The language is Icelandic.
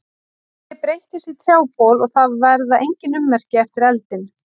Ég breytist í trjábol og það verða engin ummerki eftir eldinn.